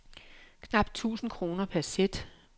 Knapt tusind kroner per sæt.